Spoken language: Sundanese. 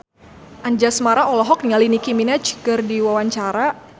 Anjasmara olohok ningali Nicky Minaj keur diwawancara